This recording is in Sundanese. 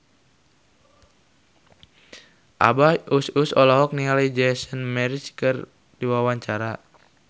Abah Us Us olohok ningali Jason Mraz keur diwawancara